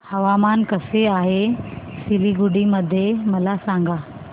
हवामान कसे आहे सिलीगुडी मध्ये मला सांगा